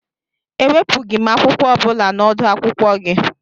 E wepughị m akwụkwọ ọ bụla na odu akwụkwọ gị